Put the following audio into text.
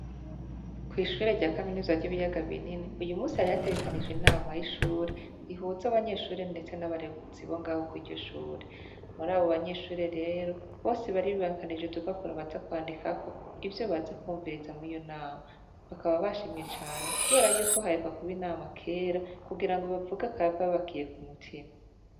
Kw' ishure rya kaminuza y' Ibiyaga Binini , uyu munsi hari hategekanijwe inama yishure, ihuza abanyeshure ndetse n' abarezi bo ngaho kwiryo shure. Murabo banyeshure rero , bose bari bibangikanije udupapuro baza kwandikako , ivyo baza kwumviriza mwiyo nama . Bakaba bashimye cane kubera yuko haheruka kuba inama kera kugirango bavuge akababakiye ku mutima .